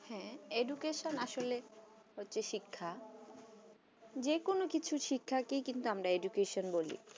হ্যাঁ education আসলে হচ্ছে শিক্ষা যে কোনো কিছু শিক্ষাকে আমরা education বলি